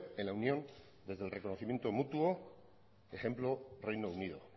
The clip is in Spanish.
en la unión desde el reconocimiento mutuo ejemplo reino unido